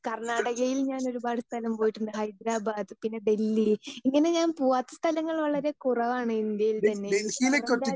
speaker 2 കർണാടകയിൽ ഞാൻ ഒരുപാട് സ്ഥലം പോയിട്ടുണ്ട് ഹൈദരാബാദ് പിന്നെ ഡൽഹി ഇങ്ങനെ ഞാൻ പോകാത്ത സ്ഥലങ്ങൾ വളരെ കുറവാണ് ഇന്ത്യയിൽ തന്നെ പുറംരാജ്യങ്ങളിൽ